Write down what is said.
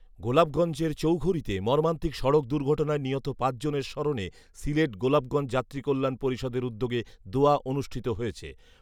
গোলাপগঞ্জের চৌঘরীতে মর্মান্তিক সড়ক দূর্ঘটনায় নিহত পাঁচ জনের স্মরণে সিলেট গোলাপগঞ্জ যাত্রী কল্যাণ পরিষদের উদ্যোগে দোয়া অনুষ্ঠিত হয়েছে